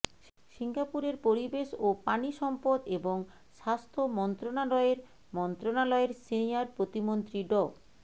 সিঙ্গাপুরের পরিবেশ ও পানিসম্পদ এবং স্বাস্থ্য মন্ত্রণালয়ের মন্ত্রণালয়ের সিনিয়র প্রতিমন্ত্রী ড